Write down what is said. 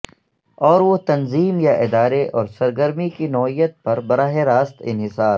اور وہ تنظیم یا ادارے اور سرگرمی کی نوعیت پر براہ راست انحصار